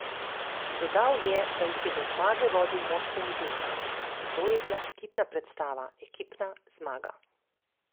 Dodal je, da jih je do zmage vodil moštveni duh: "To je bila ekipna predstava, ekipna zmaga.